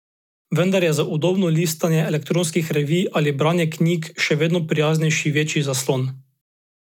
Vendar je za udobno listanje elektronskih revij ali branje knjig še vedno prijaznejši večji zaslon.